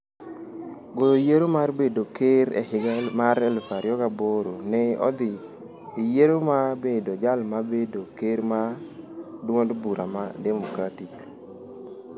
Goyo yiero mar bedo ker E higa mar 2008, ne odhi e yiero mar bedo jal mar bedo ker mar duond bura mar Democratic.